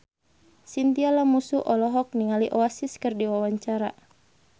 Chintya Lamusu olohok ningali Oasis keur diwawancara